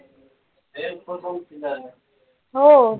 हो